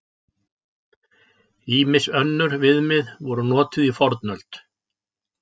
Ýmis önnur viðmið voru notuð í fornöld.